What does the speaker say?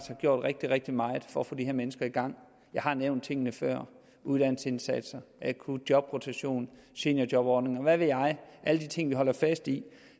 gjort rigtig rigtig meget for at få de her mennesker i gang jeg har nævnt tingene før uddannelsesindsatser akutjobrotation seniorjobordninger og hvad ved jeg alle de ting vi holder fast i